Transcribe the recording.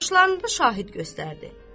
Yoldaşlarında şahid göstərdi.